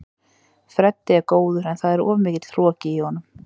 Freddi er góður en það er of mikill hroki í honum.